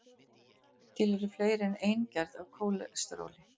til eru fleiri en ein gerð af kólesteróli